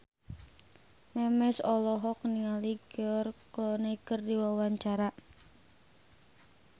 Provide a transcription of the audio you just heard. Memes olohok ningali George Clooney keur diwawancara